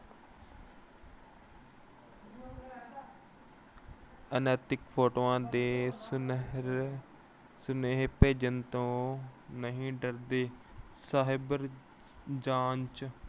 ਅਨੈਤਿਕ ਫੋਟੋਆਂ ਦੇ ਸੁਨੇਹੇ ਅਹ ਸੁਨੇਹੇ ਭੇਜਣ ਤੋਂ ਨਹੀਂ ਡਰਦੇ। cyber ਜਾਂਚ